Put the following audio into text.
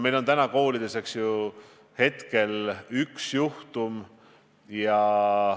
Meil on täna koolides teada üks juhtum.